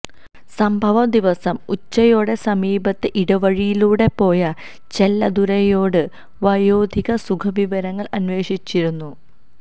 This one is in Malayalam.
സംഭവ ദിവസം ഉച്ചയോടെ സമീപത്തെ ഇടവഴിയിലൂടെ പോയ ചെല്ലദുരൈയോട് വയോധിക സുഖവിവരങ്ങൾ അന്വേഷിച്ചിരുന്നു